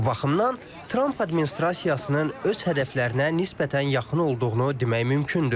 Bu baxımdan Tramp administrasiyasının öz hədəflərinə nisbətən yaxın olduğunu demək mümkündür.